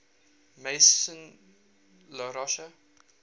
maison la roche